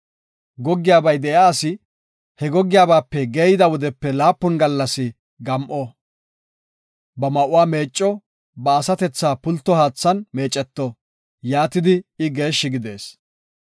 “Goggiyabay de7iya asi he gogiyabape geeyida wodepe laapun gallas gam7o. Ba ma7uwa meecco; ba asatethaa pulto haathan meeceto; yaatidi I geeshshi gidees.